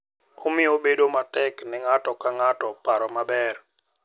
Omiyo bedo matek ne ng’ato ka ng’ato paro maber .